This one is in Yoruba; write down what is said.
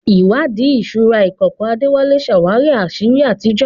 Ìwádìí ìṣúra ìkọ̀kọ̀ Adewale ṣàwárí àwọn àṣírí àtijọ́.